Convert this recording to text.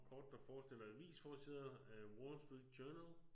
Kort der forestiller avisforsider af Wall Street Journal